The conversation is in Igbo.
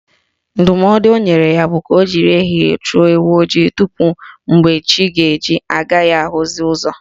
Ndụmọdụ o nyere ya bụ ka o jiri ehihie chụọ ewu ojii tupu mgbe chi ga-eji ị gaghị ahụzi ụzọ